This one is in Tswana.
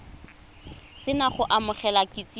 se na go amogela kitsiso